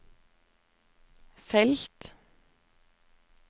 felt